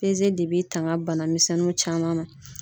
de b'i tanga bana misɛnninw caman ma.